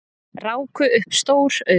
Ráku upp stór augu